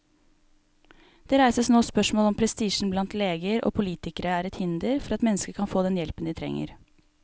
Det reises nå spørsmål om prestisjen blant leger og politikere er et hinder for at mennesker kan få den hjelpen de trenger.